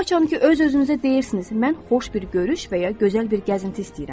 Haçan ki, öz-özünüzə deyirsiniz, mən xoş bir görüş və ya gözəl bir gəzinti istəyirəm.